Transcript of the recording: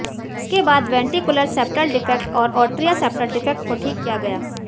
इसके बाद ventricular septal defect और आट्रियल सेप्टल डिफेक्ट को ठीक किया गया